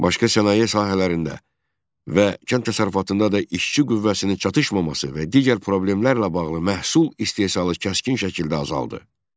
Başqa sənaye sahələrində və kənd təsərrüfatında da işçi qüvvəsinin çatışmaması və digər problemlərlə bağlı məhsul istehsalı kəskin şəkildə azaldı.